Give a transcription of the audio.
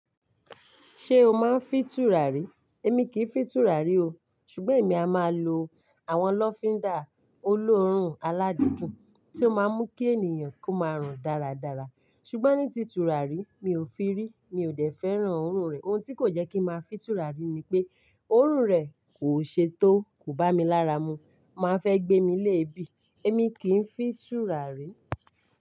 Ṣé o máa ń fìn turarí? Èmi kìí fìn turarí o. Ṣùgbọ́n èmi a máa lo àwọn lọfindà olóórùn aládidún tí ó máa mú kí ènìyàn kó máa rùn dáradára. Ṣùgbọ́n ní ti turarí, mi ò fin rí, mi ò dẹ́ fẹ́ràn òórùn rẹ̀. Ohun tí kò jẹ́ kí ń máa fìn turarí ni pé, òórùn rẹ̀ kò ṣe tó, kò bá mi lára mu, o máa n fẹ́ gbé mi léébì. Èmi kì n fìn turarí.